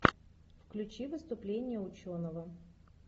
включи выступление ученого